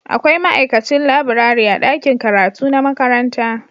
Akwai ma'aikacin laburare a ɗakin karatu na makaranta